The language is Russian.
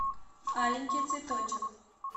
аленький цветочек